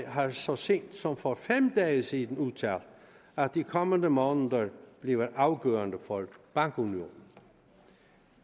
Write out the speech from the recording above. har så sent som for fem dage siden udtalt at de kommende måneder bliver afgørende for bankunionen